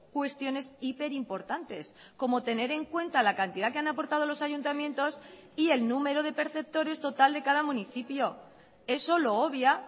cuestiones hiperimportantes como tener en cuenta la cantidad que han aportado los ayuntamientos y el número de perceptores total de cada municipio eso lo obvia